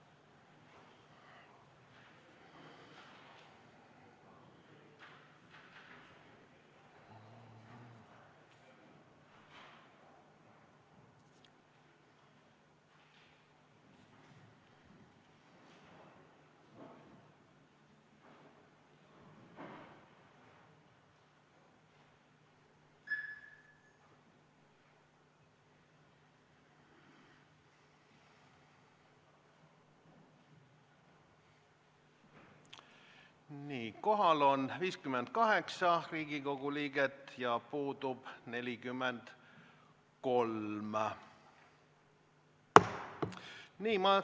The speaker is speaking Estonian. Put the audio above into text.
Kohaloleku kontroll Kohal on 58 Riigikogu liiget ja puudub 43.